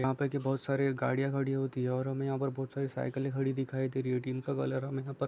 यहाँ पे के बहुत सारी गाड़ियाँ खड़ी होती है और हमे यहाँ पर बहुत सारी साइकिले खड़ी दिखाई दे रही है टिन का कलर यहाँ पर --